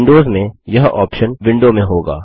Windows में यह option window में होगा